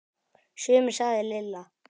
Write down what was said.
Sumir sagði Lilla.